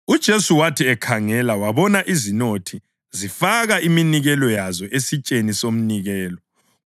UJesu wathi ekhangela wabona izinothi zifaka iminikelo yazo esitsheni somnikelo.